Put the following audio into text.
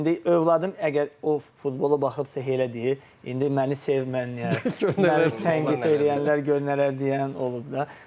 İndi övladım əgər o futbola baxıbsa elə deyir, indi məni sevməyən, tənqid eləyənlər gör nələr deyən olub da.